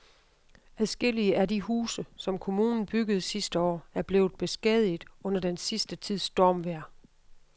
Adskillige af de huse, som kommunen byggede sidste år, er blevet beskadiget under den sidste tids stormvejr.